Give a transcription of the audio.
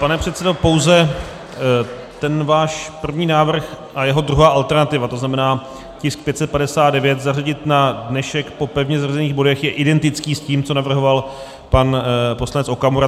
Pane předsedo, pouze ten váš první návrh a jeho druhá alternativa, to znamená tisk 559 zařadit na dnešek po pevně zařazených bodech je identický s tím, co navrhoval pan poslanec Okamura.